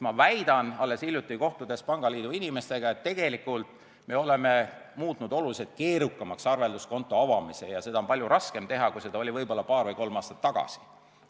Ma väidan, olles alles hiljuti kohtunud pangaliidu inimestega, et me oleme muutnud oluliselt keerukamaks arvelduskonto avamise ja seda on palju raskem teha, kui oli võib-olla paar või kolm aastat tagasi.